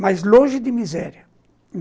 Mas longe de miséria.